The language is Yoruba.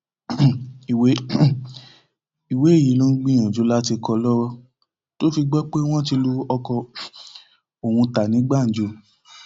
um ìwé um ìwé yìí ló ń gbìyànjú láti kọ lọwọ tó fi gbọ pé wọn ti lu ọkọ um òun ta ní gbàǹjo